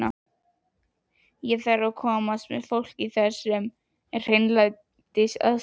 Ég þarf að komast með fólkið þar sem er hreinlætisaðstaða.